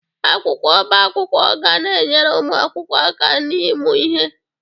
Akwụkwọ ọbá akwụkwọ ga na-enyere ụmụ akwụkwọ aka n'ịmụ ihe.